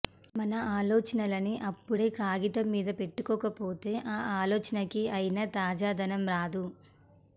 మన ఆలోచనలని అప్పుడే కాగితం మీద పెట్టకపోతే ఆ ఆలోచనకి అయిన తాజాదనం రాదు